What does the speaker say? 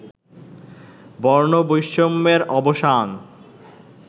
বর্ণবৈষম্যের অবসান